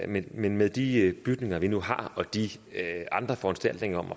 men med med de bygninger vi nu har og de andre foranstaltninger